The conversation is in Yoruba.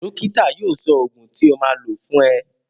Dókítà yóò sọ ògùn tí o máa lò fún ẹ